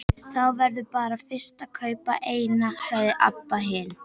Þá verðurðu bara fyrst að kaupa eina, sagði Abba hin.